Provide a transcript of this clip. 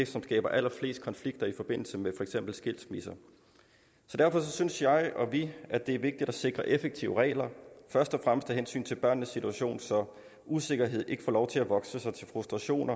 som skaber allerflest konflikter i forbindelse med for eksempel skilsmisse derfor synes jeg og vi at det er vigtigt at sikre effektive regler først og fremmest af hensyn til børnenes situation så usikkerhed ikke får lov til at vokse til frustration